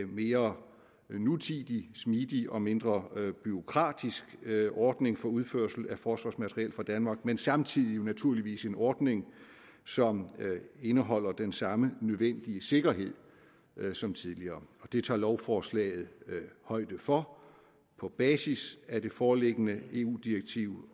mere nutidig smidig og mindre bureaukratisk ordning for udførsel af forsvarsmateriel fra danmark men samtidig naturligvis en ordning som indeholder den samme nødvendige sikkerhed som tidligere det tager lovforslaget højde for på basis af det foreliggende eu direktiv